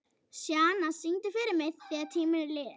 Sjana, syngdu fyrir mig „Þegar tíminn er liðinn“.